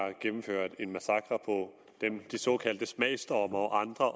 har gennemført en massakre på de såkaldte smagsdommere og andre